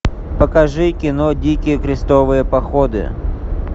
покажи кино дикие крестовые походы